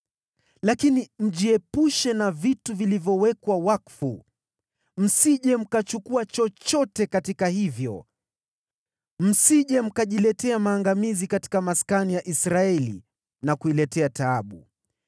Lakini mjiepushe na vitu vilivyowekwa wakfu, msije mkachukua chochote katika hivyo, msije mkajiletea maangamizi katika maskani ya Israeli na kuiletea taabu.